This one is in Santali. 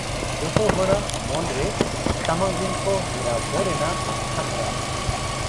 ᱡᱚᱛᱚ ᱦᱚᱲᱟᱜ ᱢᱚᱱ ᱨᱮ ᱥᱟᱢᱟᱝᱨᱤᱱ ᱠᱚ ᱦᱮᱨᱟᱣ ᱠᱚ ᱨᱮ᱓ᱱᱟᱜ ᱦᱚᱸᱠᱨᱟᱣ ᱾